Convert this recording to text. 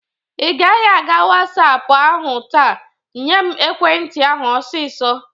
Ị gaghị aga WhatsApo ahụ taa. Nyem ekwe nti ahụ ọsịsọ!